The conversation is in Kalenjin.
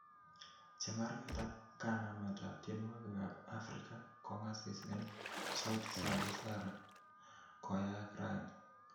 Chemarget ap kanamet ap tienwogikap ap africa kongasis en sauti za busara koyaag rani.